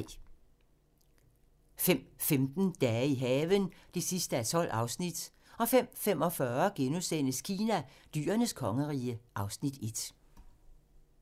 05:15: Dage i haven (12:12) 05:45: Kina: Dyrenes kongerige (Afs. 1)*